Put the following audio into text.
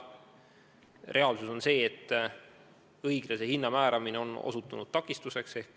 Reaalsus on see, et õiglase hinna määramine on osutunud takistuseks.